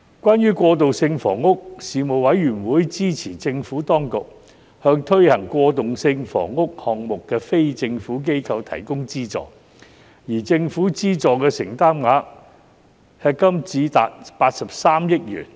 關於過渡性房屋，事務委員會支持政府當局向推行過渡性房屋項目的非政府機構提供資助，而政府資助的承擔額迄今已達83億元。